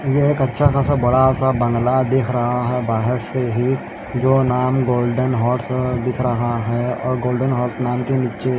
यह एक अच्छा सा बड़ा सा बंगला दिख रहा है बाहर से ही जो नाम गोल्डन हॉर्स दिख रहा है और गोल्डन हॉर्स नाम के नीचे--